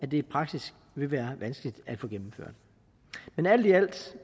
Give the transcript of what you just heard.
det i praksis vil være vanskeligt at få gennemført men alt i alt